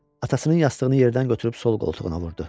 Atasının yastığını yerdən götürüb sol qoltuğuna vurdu.